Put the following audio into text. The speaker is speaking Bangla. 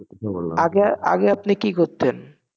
আগে আগে আপনি কি করতেন?